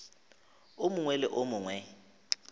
o mongwe le o mongwe